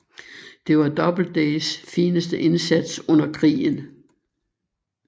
Det var Doubledays fineste indsats under krigen